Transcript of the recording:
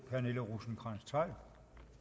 for